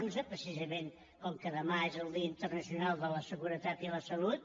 un precisament com que demà és el dia internacional de la seguretat i la salut